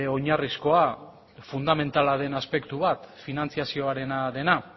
oinarrizkoa fundamentala den aspektu bat finantziazioarena dena